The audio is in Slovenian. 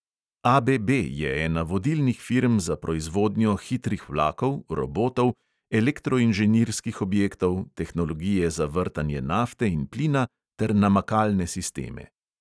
ABB je ena vodilnih firm za proizvodnjo hitrih vlakov, robotov, elektroinženirskih objektov, tehnologije za vrtanje nafte in plina ter namakalne sisteme.